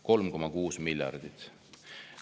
3,6 miljardit!